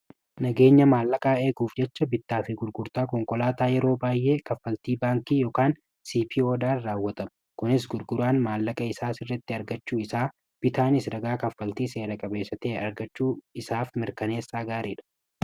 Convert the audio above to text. nageenya maallaqaa eeguuf jecha bittaa fi gurgurtaa konkolaataa yeroo baay'ee kaffaltii baankii ykan cpo dhaan raawwatamu kunis gurguraan maallaqa isaa sirratti argachuu isaa bitaanis dagaa kaffaltii seera-qabeessatee argachuu isaaf mirkaneessaa gaarii dha